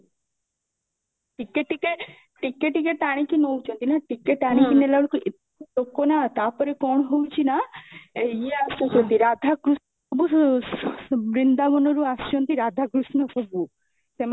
ଟିକେ ଟିକେ, ଟିକେ ଟିକେ ଟାନିକୀ ନୌଚାନ୍ତି ନା ଟିକେ ଟାଣି କି ନେଲା ବେଳକୁ ଏତେ ଲୋକ ନା ଆଉ ତାପରେ କଣ ହୋଉଛି ନା, ୟେ ଆସୁଛନ୍ତି ରାଧା କୃଷ୍ଣ ସବୁ ବୃନ୍ଦାବନ ରୁ ଆସୁଛନ୍ତି ରାଧା କୃଷ୍ଣ ସବୁ ସେମାନେ